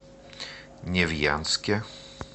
невьянске